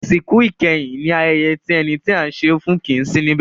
Ìsìnkú ìkẹyìn ní ayẹyẹ tí ẹni tí à ń ṣe e fún kìí sí níbẹ̀.